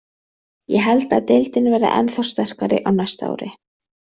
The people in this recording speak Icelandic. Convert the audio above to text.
Ég held að deildin verði ennþá sterkari á næsta ári.